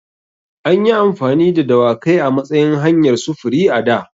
An yi amfani da dawakai a matsayin hanyar sufuri a da.